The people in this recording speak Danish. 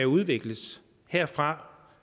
udvikles herfra